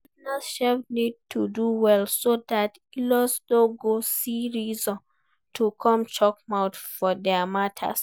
Partners sef need to do well so dat inlaws no go see reason to come chook mouth for their matter